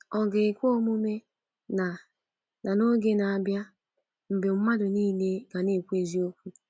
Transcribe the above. Ọ̀ ga ekwe omume na na oge ga-abịa mgbe mmadụ nile ga na-ekwu eziokwu?